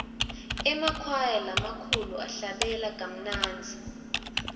emakwaya lamakulu ahlabela kamnandzi